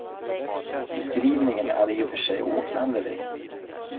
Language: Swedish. Beskrivningen är i och för sig oklanderlig.